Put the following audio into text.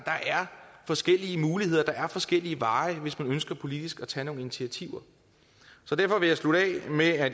forskellige muligheder der er forskellige veje hvis man ønsker politisk at tage nogle initiativer derfor vil jeg slutte af med